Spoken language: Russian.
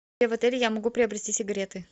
где в отеле я могу приобрести сигареты